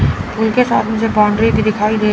उनके साथ मुझे बाउंड्री में दिखाई दे--